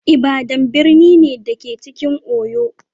Ibadan birni ne, da ke cikin Oyo.